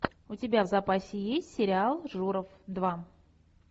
у тебя в запасе есть сериал журов два